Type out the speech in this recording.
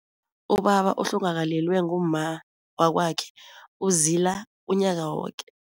Ubaba ohlongakalelwe ngumma wakwakhe uzila unyaka woke.